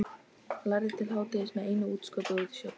Lærði til hádegis með einu útskoti út í sjoppu.